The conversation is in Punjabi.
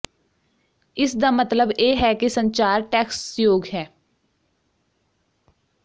ਇਸ ਦਾ ਮਤਲਬ ਇਹ ਹੈ ਕਿ ਸੰਚਾਰ ਟੈਕਸਯੋਗ ਹੈ